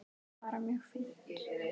Bara mjög fínt.